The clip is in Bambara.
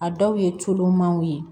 A dɔw ye coolomanw ye